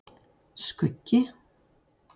Skuggi